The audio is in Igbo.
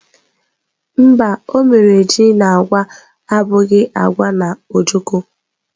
Mba, o mere ji na agwa abụghị agwa na ojokọ́.